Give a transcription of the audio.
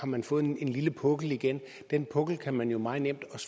man fået en lille pukkel igen den pukkel kan man jo meget nemt